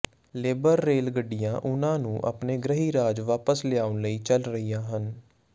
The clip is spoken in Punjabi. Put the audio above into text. ਲੇਬਰ ਰੇਲ ਗੱਡੀਆਂ ਉਨ੍ਹਾਂ ਨੂੰ ਆਪਣੇ ਗ੍ਰਹਿ ਰਾਜ ਵਾਪਸ ਲਿਆਉਣ ਲਈ ਚੱਲ ਰਹੀਆਂ ਹਨ